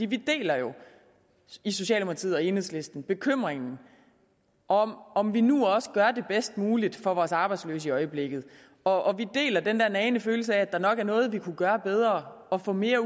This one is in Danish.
vi deler jo i socialdemokratiet og enhedslisten bekymringen om om vi nu også gør det bedst muligt for vores arbejdsløse i øjeblikket og vi deler den nagende følelse af at der nok er noget vi kunne gøre bedre og få mere